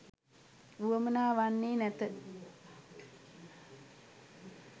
වුවමනා වන්නේ නැත.